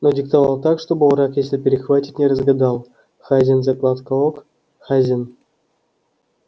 но диктовал так чтобы враг если перехватит не разгадал хазин закладка ок хазин